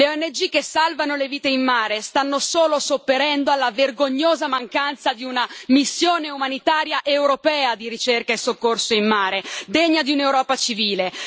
Le ONG che salvano le vite in mare stanno solo sopperendo alla vergognosa mancanza di una missione umanitaria europea di ricerca e soccorso in mare, degna di un'Europa civile.